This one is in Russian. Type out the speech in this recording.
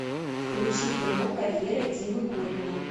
включи кино карьера димы горина